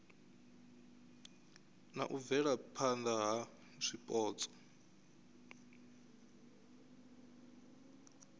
na u bvelaphana na zwipotso